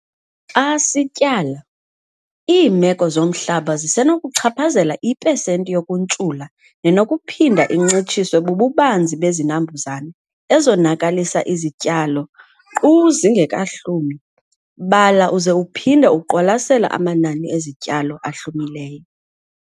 Xa sityala, iimeko zomhlaba zisenokuchaphazela ipesenti yokuntshula nenokuphinda incitshiswe bububanzi bezinambuzane ezonakalisa izityalo nkqu zingekahlumi. Bala uze uphinde uqwalasele amanani ezityalo ahlumileyo.